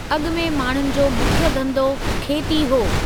अॻिमें माण्हुनि जो मुख्य धंधो खेती हो।